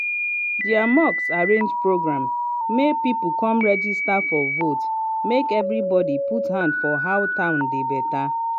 their mosque arrange program make people come register for vote make everybody put hand for how town dey better.